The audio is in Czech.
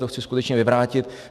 To chci skutečně vyvrátit.